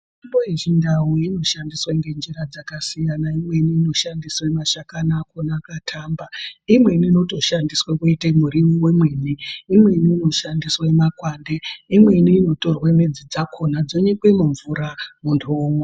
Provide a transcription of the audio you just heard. Mitombo yechindau inoshandiswe ngenjira dzakasiyana imweni inoshandiswe mashakani akona akatamba, imweni inotoshandiswe kuite mwiriwo wemwene, imweni inoshandiswe makwande imweni inotorwe midzi dzakona dzonyikwe mumvura muntu omwa.